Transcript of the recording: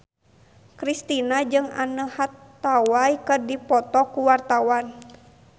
Kristina jeung Anne Hathaway keur dipoto ku wartawan